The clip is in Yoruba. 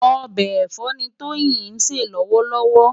Òbè ẹfọ ni Toyin nsé lòwòlòwò